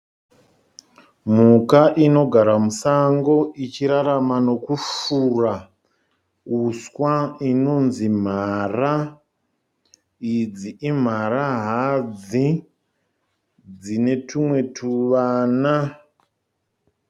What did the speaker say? Mhuka inogara musango ichirarama nokufura uswa inonzi mhara. Idzi imhara hadzi dzine tumwe tuvana.